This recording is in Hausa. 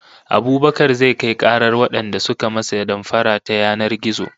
Abubakar zai kai karar wadanda suka masa damfara ta yanar gizo